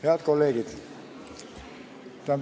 Head kolleegid!